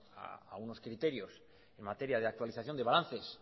a unos criterios en materia de actualización de balances